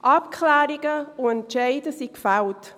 Abklärungen und Entscheide sind gefällt.